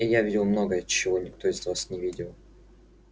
и я видел многое чего никто из вас не видел